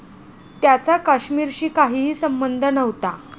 त्याचा काश्मीरशी काहीही संबंध नव्हता.